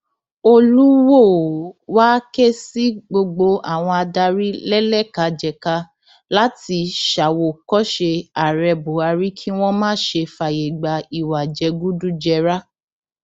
olùwòo wáá ké sí gbogbo àwọn adarí lẹlẹkàjẹkà láti ṣàwòkọṣe ààrẹ buhari kí wọn má ṣe fààyè gba ìwà jẹgúdújẹrá